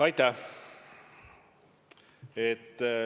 Aitäh!